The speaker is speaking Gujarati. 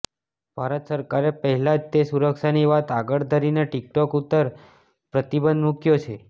ભારત સરકારે પહેલા જ તે સુરક્ષાની વાત આગળ ધરીને ટિકટોક ઉપર પ્રતિબંધ મુક્યો છે